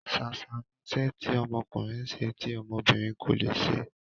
ṣàṣà ni iṣẹ́ tí ọmọkùnrin ń ṣe tí ọmọbìnrin kò leè se